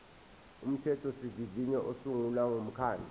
umthethosivivinyo usungula umkhandlu